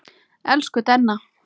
Elsku Denna.